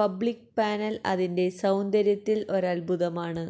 public panel അതിന്റെ സൌന്ദര്യത്തിൽ അത്ഭുതമാണ്